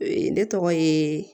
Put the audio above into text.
Ne tɔgɔ ye